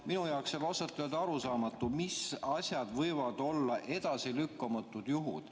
Minu jaoks jääb ausalt öeldes arusaamatuks, mis asjad võivad olla edasilükkamatud juhud.